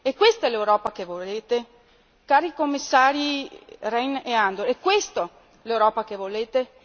E questa l'Europa che volete? Cari Commissari Rehn e Andor, è questa l'Europa che volete?